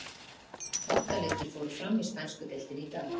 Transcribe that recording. Átta leikir fóru fram í spænsku deildinni í dag.